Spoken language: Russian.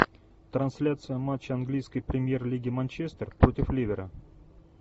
трансляция матча английской премьер лиги манчестер против ливера